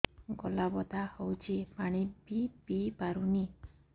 ଗଳା ବଥା ହଉଚି ପାଣି ବି ପିଇ ପାରୁନି